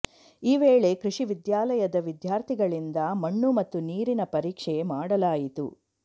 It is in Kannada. ಈ ವೇಳೆ ಕೃಷಿ ವಿದ್ಯಾಲಯದ ವಿದ್ಯಾರ್ಥಿಗಳಿಂದ ಮಣ್ಣು ಮತ್ತು ನೀರಿನ ಪರೀಕ್ಷೆ ಮಾಡಲಾಯಿತು